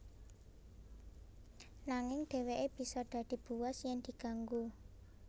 Nanging dheweke bisa dadi buas yen diganggu